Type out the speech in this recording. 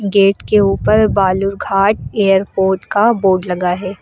Gate के ऊपर Balurghat airport का बोर्ड लगा है।